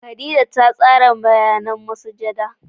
Khadijah ta tsara bayanan masujada.